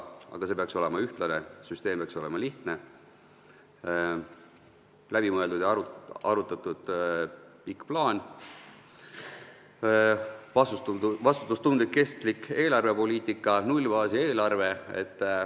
Aga see peaks olema ühtlane, süsteem peaks olema lihtne, peaks olema läbimõeldud ja -arutatud pikk plaan, vastutustundlik ja kestlik eelarvepoliitika ning nullbaasi eelarve.